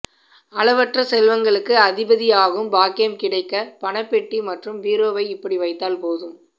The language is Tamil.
அளவற்ற செல்வங்களுக்கு அதிபதியாகும் பாக்கியம் கிடைக்க பணப்பெட்டி மற்றும் பீரோவை இப்படி வைத்தால் போதும்